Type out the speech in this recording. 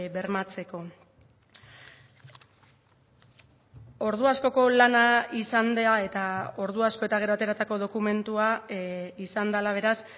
bermatzeko ordu askoko lana izan da eta ordu asko eta gero ateratako dokumentua izan dela beraz